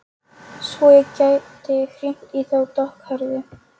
Svo ég geti hringt í þá dökkhærðu.